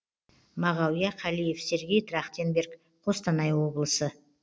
мағауия қалиев сергей трахтенберг қостанай облысы